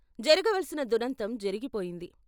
జరగ వలసిన దురంతం జరిగిపోయింది.